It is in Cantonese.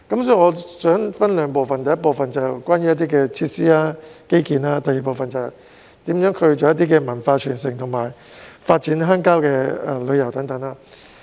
所以，我想分兩部分談談，第一部分是關於設施和基建，第二部分是如何促進文化傳承和發展鄉郊旅遊等。